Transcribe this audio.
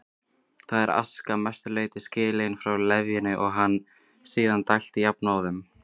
Þar er aska að mestu leyti skilin frá leðjunni og henni síðan dælt jafnóðum um